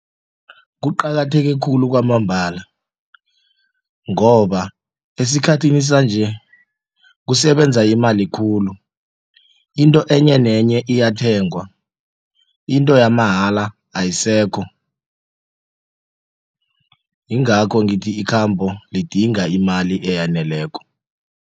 Kuqakatheke khulu kwamambala ngoba esikhathini sanje kusebenza imali khulu into enye nenye iyathengwa into yamahala ayisekho yingakho ngithi ikhambo lidinga imali eyaneleko.